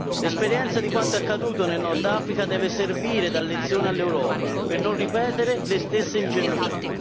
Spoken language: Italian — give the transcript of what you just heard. L'esperienza di quanto accaduto nel Nord Africa deve servire da lezione all'Europa per non ripetere le stesse ingenuità.